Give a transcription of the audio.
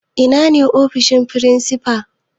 Ina ne ofishin firinsifa?